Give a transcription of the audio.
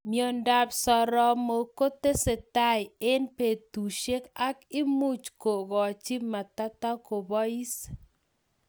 Miondop soromok kotesetae eng betusiek ak imuch kokachi matatokopais